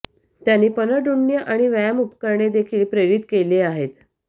त्यांनी पनडुण्य आणि व्यायाम उपकरणे देखील प्रेरित केले आहेत